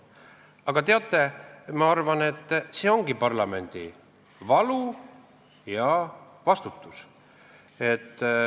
Aga teate, ma arvan, et see ongi parlamendi valu ja vastutus.